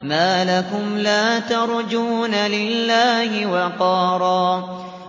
مَّا لَكُمْ لَا تَرْجُونَ لِلَّهِ وَقَارًا